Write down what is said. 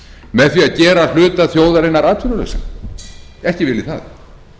með því að gera hluta þjóðarinnar atvinnulausan ekki vil ég það